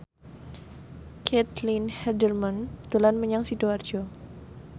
Caitlin Halderman dolan menyang Sidoarjo